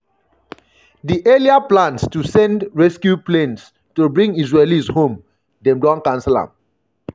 di earlier plans to send "rescue planes" to bring israelis home dem don cancel am.